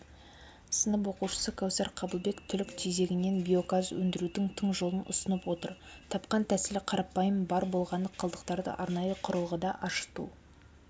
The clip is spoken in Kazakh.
сынып оқушысы кәусар қабылбек түлік тезегінен биогаз өндірудің тың жолын ұсынып отыр тапқан тәсілі қарапайым бар болғаны қалдықтарды арнайы құрылғыда ашыту